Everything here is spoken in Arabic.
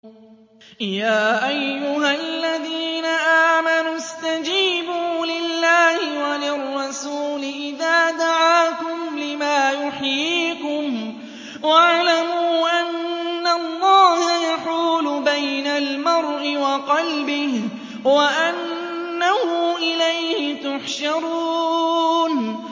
يَا أَيُّهَا الَّذِينَ آمَنُوا اسْتَجِيبُوا لِلَّهِ وَلِلرَّسُولِ إِذَا دَعَاكُمْ لِمَا يُحْيِيكُمْ ۖ وَاعْلَمُوا أَنَّ اللَّهَ يَحُولُ بَيْنَ الْمَرْءِ وَقَلْبِهِ وَأَنَّهُ إِلَيْهِ تُحْشَرُونَ